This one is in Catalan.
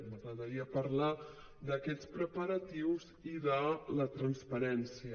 m’agradaria parlar d’aquests preparatius i de la transparència